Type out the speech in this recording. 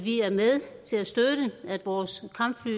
er med til at støtte at vores kampfly